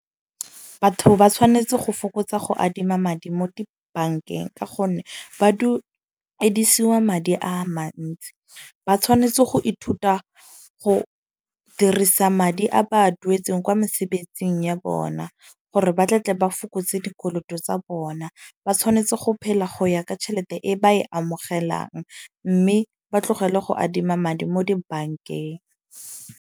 Batho ba tshwanetse go fokotsa go adima madi mo dibankeng. Ka gonne ba duedisiwa madi a mantsi. Ba tshwanetse go ithuta go dirisa madi a ba a duetseng kwa mosebetsing ya bona. Gore ba tle tle ba fokotse dikoloto tsa bona. Ba tshwanetse go phela go ya ka tšhelete e ba e amogelang. Mme ba tlogele go adima madi mo dibankeng.